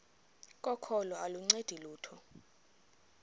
kokholo aluncedi lutho